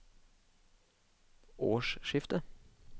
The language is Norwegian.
årsskiftet